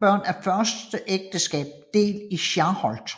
børn af første ægteskab del i Skarholt